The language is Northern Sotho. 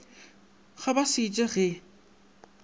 ga ba se je ge